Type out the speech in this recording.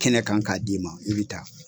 Kɛnɛ kan k'a di'i ma i bɛ taa.